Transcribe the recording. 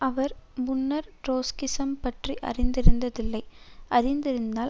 அவர் முன்னர் ட்ரொட்ஸ்கிசம் பற்றி அறிந்திருந்ததில்லை அறிந்திருந்தால்